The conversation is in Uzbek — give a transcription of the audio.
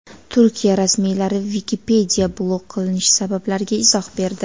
Turkiya rasmiylari Wikipedia blok qilinishi sabablariga izoh berdi.